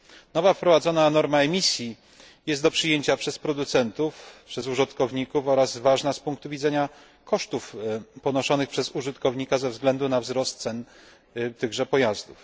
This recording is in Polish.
Nowa wprowadzona norma emisji jest do przyjęcia przez producentów, przez użytkowników oraz ważna z punku widzenia kosztów ponoszonych przez użytkownika ze względu na wzrost cen tychże pojazdów.